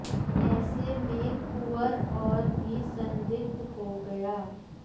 ऐसे में कुंवर और भी संदिग्ध हो गया